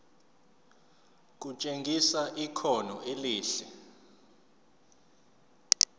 kutshengisa ikhono elihle